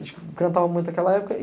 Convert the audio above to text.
A gente cantava muito aquela época.